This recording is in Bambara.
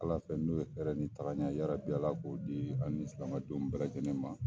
Ala fɛ n'u ye hɛrɛ ni tagaɲɛ ye Ala k'o di ani silamɛdenw bɛɛ lajɛlen ma.